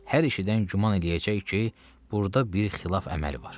Hər eşidən güman eləyəcək ki, burda bir xilaf əməli var.